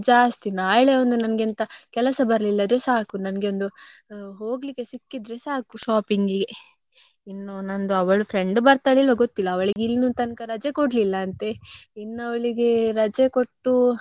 ನನ್ಗೆ ಒಂದು ಹೋಗ್ಲಿಕ್ಕೆ ಸಿಕ್ಕಿದ್ರೆ ಸಾಕು shopping ಇಗೆ ಇನ್ನು ನಂದೂ ಅವಳು friend ಬರ್ತಾಳ ಇಲ್ವಾ ಗೊತ್ತಿಲ್ಲ. ಅವ್ಳಿಗೆ ಇನ್ನೂ ತನಕ ರಜೆ ಕೊಡಲಿಲ್ಲ ಅಂತೆ. ಇನ್ನು ಅವ್ಳಿಗೆ ರಜೆ ಕೊಟ್ಟು ಬಂದ್ರೆ ಬರ್ತಾಳೆ. ಅಲ್ಲಿ ಹೋದ್ಮೇಲೆ ನನ್ಗೆ ಎಂತ ತಕ್ಕೊಳ್ಳುದು ಎಂತ.